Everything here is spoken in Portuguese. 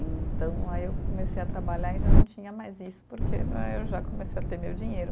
Então, aí eu comecei a trabalhar e já não tinha mais isso, porque né eu já comecei a ter meu dinheiro.